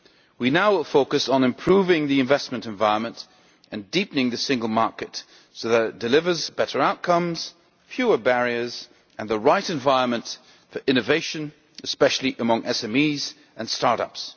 We now will focus on improving the investment environment and deepening the single market so that it delivers better outcomes, fewer barriers and the right environment for innovation, especially among SMEs and start-ups.